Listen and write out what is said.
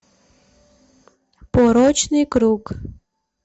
порочный круг